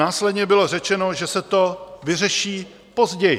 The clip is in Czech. Následně bylo řečeno, že se to vyřeší později.